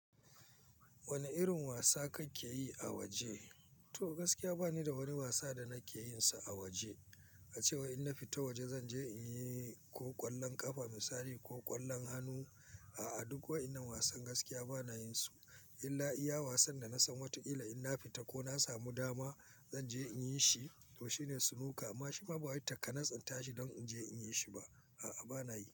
Wane irin wasa kake yi a waje? To gaskiya bani da wani wasa da nake yin sa a waje. A cewa in na fita waje zan je in yi ko ƙwallon ƙafa misali ko ƙwallon hannu. A'a, duk waɗannan wasan gaskiya bana yin su. In la'iya wasan da na san wataƙila in na fita ko na samu dama zan je in yi shi to shine Snooker. Amma shi ma ba wai takanas in tashi don in je in yi shi ba. A'a bana yi.